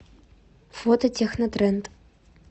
фото технотренд